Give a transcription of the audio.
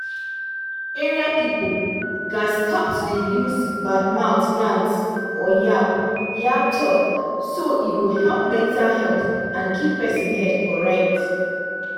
area people gats stop to dey use bad mouth yans or yab-yab talk so e go help mental health and keep person head correct.